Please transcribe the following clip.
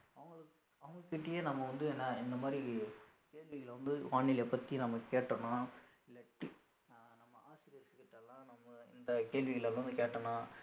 அவங்க~ அவங்ககிட்டயே நம்ம வந்து என்ன இந்த மாதிரி கேள்விகளை வந்து வானிலை பத்தி நாம கேட்டோம்னா இல்ல அஹ் நம்ம கிட்டலாம் இந்த கேள்விகள போய் கேட்டோம்னா